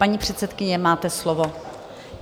Paní předsedkyně, máte slovo.